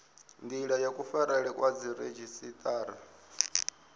ndila ya kufarelwe kwa dziredzhisiṱara